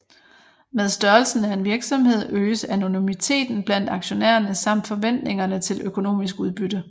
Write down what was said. Med størrelsen af en virksomhed øges anonymiteten blandt aktionærerne samt forventningerne til økonomisk udbytte